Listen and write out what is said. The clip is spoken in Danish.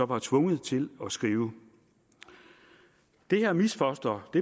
var tvunget til at skrive det her misfoster